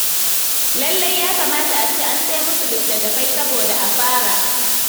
Lallai ya kamata a ce an sai musu littattafai, saboda a fara.